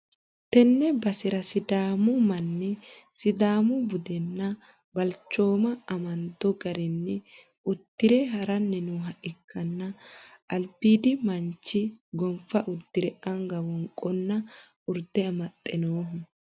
tenne basera sidaamu manni sidaamu budenna balchooma amando garinni uddi're ha'ranni nooha ikkanna badhiidi manchi gonfa uddire anga wonqonna urde amaxxe nooho.